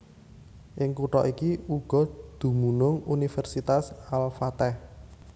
Ing kutha iki uga dumunung Universitas Al Fateh